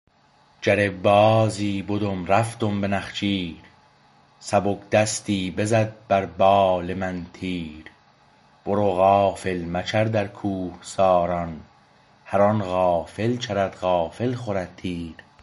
جره بازی بدم رفتم به نخجیر سبک دستی بزد بر بال من تیر برو غافل مچر در کوهساران هرآن غافل چرد غافل خورد تیر